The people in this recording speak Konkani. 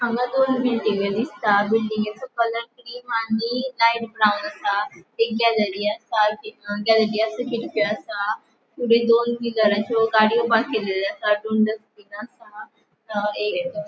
हांगा दोन बिल्डिंग्यो दिसता बिल्डिंगेच्यो कलर क्रीम आणि लाइट ब्राउन आसा एक गॅलरी आसा गॅलरी असा खिड़की आसा थोड़ी दोन व्हीलरच्यो गाड़ियों पार्क केलेल्यो आसा दोन डस्टबिन आसा हा.